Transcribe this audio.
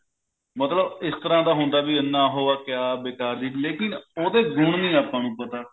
ਮਤਲਬ ਇਸ ਤਰ੍ਹਾਂ ਦਾ ਹੁੰਦਾ ਹੈ ਵੀ ਇੰਨਾ ਉਹ ਹੈ ਕਿਆ ਬੇਕਾਰ ਚੀਜ ਲੇਕਿਨ ਉਹਦੇ ਗੁਣ ਨਹੀਂ ਆਪਾਂ ਨੂੰ ਪਤਾ